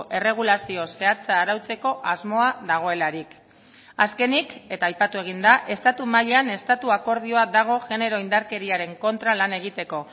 erregulazio zehatza arautzeko asmoa dagoelarik azkenik eta aipatu egin da estatu mailan estatu akordioa dago genero indarkeriaren kontra lan egiteko